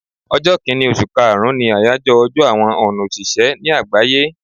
Ọjọ́ kínì osù kaàrún ni àyájọ́ ọjọ́ àwọn on òṣìṣẹ́ ní àgbáyé